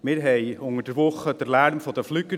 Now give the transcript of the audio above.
Wir haben unter der Woche den Lärm der Flieger.